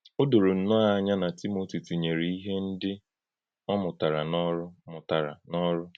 Ọ dòrò nnọọ́ ànyà na Tímótì tinyèrè ihe ndí ọ mụ̀tàrà n’ọ́rụ́. mụ̀tàrà n’ọ́rụ́.